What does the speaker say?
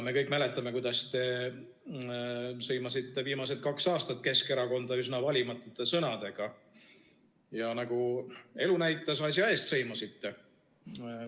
Me kõik mäletame, kuidas te sõimasite viimased kaks aastat Keskerakonda üsna valimatute sõnadega ja nagu elu näitas, asja eest sõimasite.